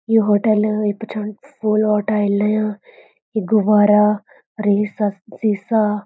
यु hotel ये पछान फूल वालू टाइल यु गुब्बारा और यु सस सीसा।